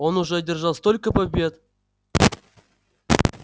он уже одержал столько побед